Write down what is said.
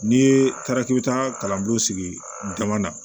N'i ye taara k'i bɛ taa kalanko sigi dama na